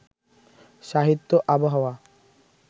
সাহিত্য আবহাওয়া